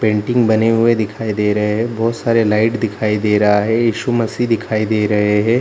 painting बने हुए दिखई दे रहे है बहुत सारा लाइट दिखई दे रहा है इशू मसीह दिखई दे रहे है |